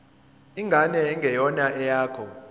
ingane engeyona eyakho